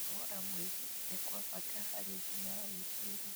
Kũnogora mwĩrĩ nĩ kwa bata harĩ ũgima wa gwĩciria